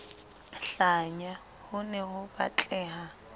hlanya ho ne ho batleha